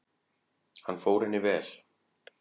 Hann fór henni vel.